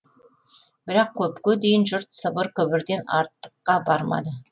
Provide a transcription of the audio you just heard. бірақ көпке дейін жұрт сыбыр күбірден артыққа бармады